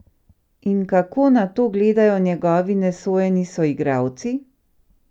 In kako na to gledajo njegovi nesojeni soigralci?